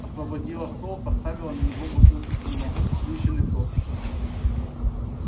освободила стол поставила на него бутылку с вином и сплющенный тортик